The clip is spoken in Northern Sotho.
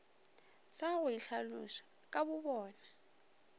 sa go itlhaloša ka bobona